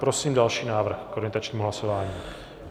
Prosím další návrh k orientačnímu hlasování.